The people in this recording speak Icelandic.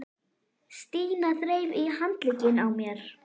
Stína þreif í handlegginn á mér.